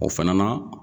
O fana na